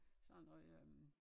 Sådan noget øh